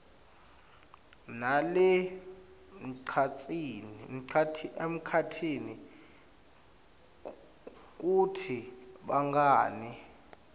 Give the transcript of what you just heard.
nalasemkhatsini kutsi bangene